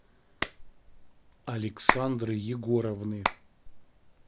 александры егоровны